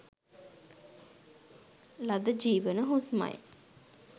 ලද ජීවන හුස්මයි.